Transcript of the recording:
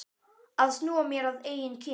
Að snúa mér að eigin kyni.